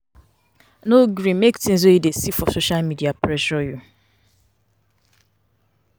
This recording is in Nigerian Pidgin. No gree make things wey you dey see for social media pressure you.